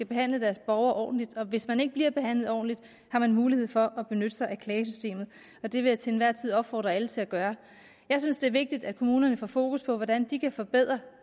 behandle deres borgere ordentligt hvis man ikke bliver behandlet ordentligt har man mulighed for at benytte sig af klagesystemet og det vil jeg til enhver tid opfordre alle til at gøre jeg synes det er vigtigt at kommunerne får fokus på hvordan de kan forbedre